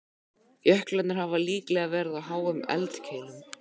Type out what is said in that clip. Jöklarnir hafa líklega verið á háum eldkeilum.